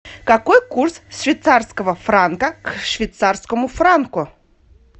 какой курс швейцарского франка к швейцарскому франку